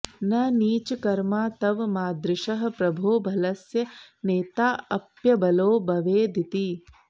न नीचकर्मा तव मादृशः प्रभो बलस्य नेताऽप्यबलो भवेदिति